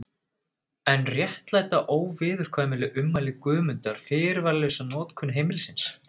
En réttlæta óviðurkvæmileg ummæli Guðmundar fyrirvaralausa lokun heimilisins?